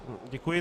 Děkuji.